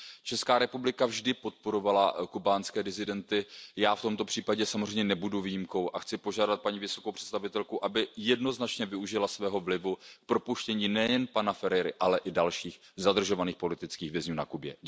Česká republika vždy podporovala kubánské disidenty, já v tomto případě samozřejmě nebudu výjimkou a chci požádat paní vysokou představitelku, aby jednoznačně využila svého vlivu k propuštění nejen pana Ferrera, ale i dalších zadržovaných politických vězňů na Kubě.